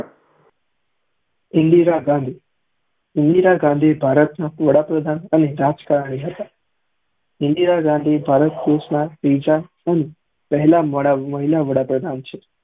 ઇન્દિરા ગાંધી ઇન્દીરા ગાંધી ભારત ના વડા પ્રધાન અને રાજકાર્ય હતા ઇન્દિરા ગાંધી ભારત દેશ ના પેહલા મહિલા વડા પ્રધાન છે